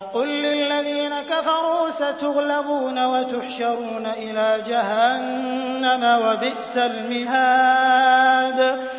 قُل لِّلَّذِينَ كَفَرُوا سَتُغْلَبُونَ وَتُحْشَرُونَ إِلَىٰ جَهَنَّمَ ۚ وَبِئْسَ الْمِهَادُ